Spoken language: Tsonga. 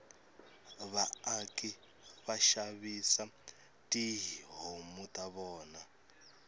vaaki vashavisa tihhomu tavona